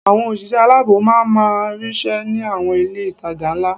Àwọn òṣìṣẹ́ aláàbò ma máa ríṣẹ́ ní àwọn ilé-ìtajà ńlá